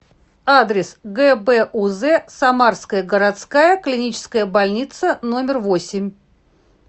адрес гбуз самарская городская клиническая больница номер восемь